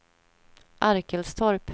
Arkelstorp